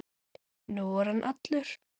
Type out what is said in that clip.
Nú er hann allur.